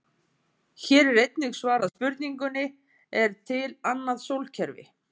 Hér er einnig svarað spurningunni: Er til annað sólkerfi?